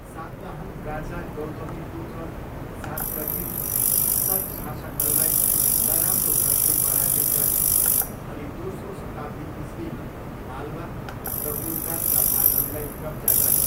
सातवाहन राजा गौतमीपुत्र सातकर्नीले सक शासकहरूलाई नराम्रो घतले पराजित गरे अनि दोस्रो शताब्दी इस्वीमा मालवा र गुजरातका भागहरूलाई कब्जा गरे।